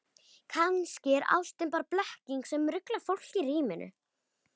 Kannski er ástin bara blekking sem ruglar fólk í ríminu.